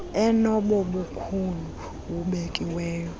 enobo bukhulu bubekiweyo